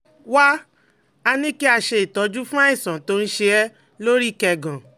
Wá a ní kí a ṣe ìtọ́jú fún àìsàn tó ń ṣe é lórí kẹ́gàn